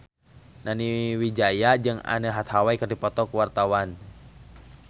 Nani Wijaya jeung Anne Hathaway keur dipoto ku wartawan